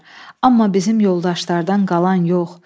Amma bizim yoldaşlardan qalan yox.